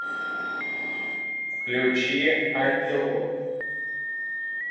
включи аниллу